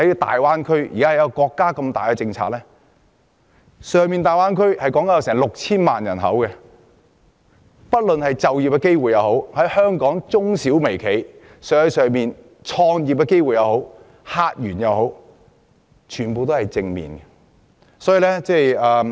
大灣區共有 6,000 萬人口，其發展對於香港青年人的就業機會、香港中小企的生意和客源等，都有正面影響。